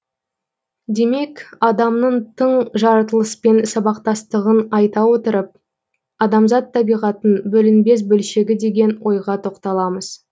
демек адамның тың жаратылыспен сабақтастығын айта отырып адамзат табиғаттың бөлінбес бөлшегі деген ойға тоқталамыз